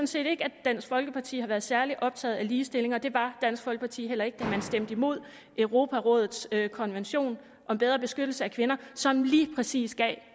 set ikke at dansk folkeparti har været særlig optaget af ligestilling og det var dansk folkeparti heller ikke da man stemte imod europarådets konvention om bedre beskyttelse af kvinder som lige præcis gav